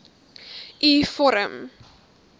u vorm